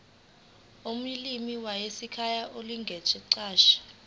olimini lwasekhaya nangokuguquka